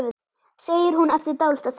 segir hún eftir dálitla þögn.